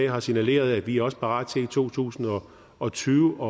har signaleret at vi også er parat til i to tusind og tyve